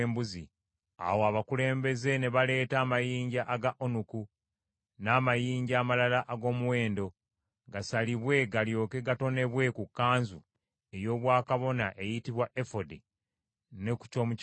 Awo abakulembeze ne baleeta amayinja aga onuku, n’amayinja amalala ag’omuwendo, gasalibwe galyoke gatonebwe ku kkanzu ey’obwakabona eyitibwa efodi ne ku ky’omu kifuba.